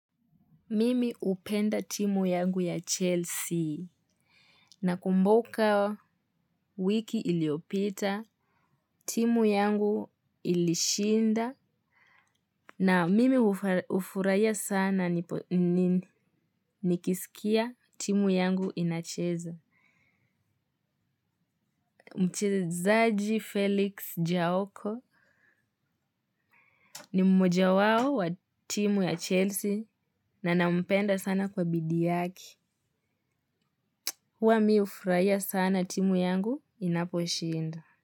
Mimi hupenda timu yangu ya Chelsea nakumbuka wiki iliyopita, timu yangu ilishinda na mimi hufurahia sana nikisikia timu yangu inacheza. Mchezaji Felix Jaoko ni mmoja wao wa timu ya Chelsea na nampenda sana kwa bidii yake. Huwa mi hufurahia sana timu yangu inaposhinda.